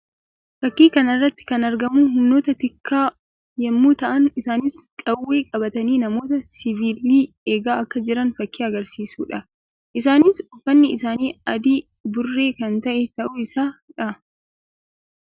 Fakkii kana irratti kan argamu humnoota tikaa yammuu ta'an isaannis qawwee qabatnii namoota siviilii eegaa akka jiran fakkii agarsiisuu dha. Isaannis uffanni isaanii adii burree kan ta'e ta'uu isaa dha.